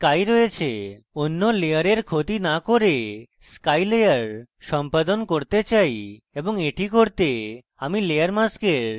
অন্য layer ক্ষতি না করে আমি sky layer সম্পাদন করতে চাই এবং এটি করতে আমি layer mask সাথে কাজ করি